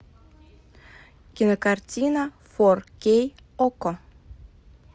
кинокартина фор кей окко